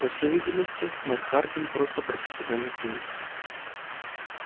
по всей видимости мэр хардин просто профессиональный циник